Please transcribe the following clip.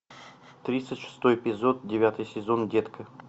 тридцать шестой эпизод девятый сезон детка